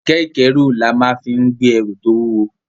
Kẹ̀kẹ́ ìkẹ́rù là máa fí ń gbé ẹrù tó wúwo